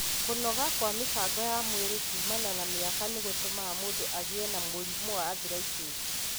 Kũnoga kwa mĩbango ya mwĩrĩ kumana na mĩaka nĩ gũtũmaga mũndũ agĩe na mũrimũ wa arthritis.